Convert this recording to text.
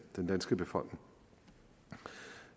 den danske befolkning